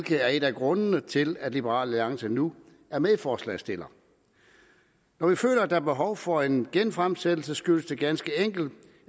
det er en af grundene til at liberal alliance nu er medforslagsstiller når vi føler at der er behov for en genfremsættelse skyldes det ganske enkelt